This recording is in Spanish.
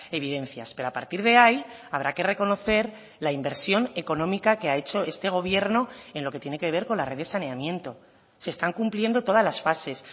evidencias pero a partir de ahí habrá que reconocer la inversión económica que ha hecho este gobierno en lo que tiene que ver con la red de saneamiento se están cumpliendo todas las fases